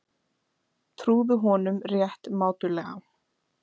Trúðu honum rétt mátulega.